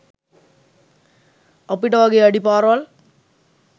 අපිට වගේ අඩි පාරවල්